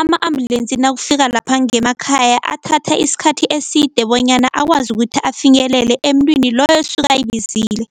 ama-ambulensi nakufika lapha ngemakhaya athatha isikhathi eside bonyana akwazi ukuthi afinyelele emntwini loyo osuke ayibizile.